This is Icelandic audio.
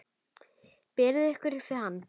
Berið ykkur upp við hann!